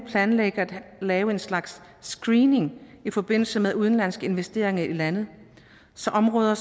planlægger at lave en slags screening i forbindelse med udenlandske investeringer i landet så områder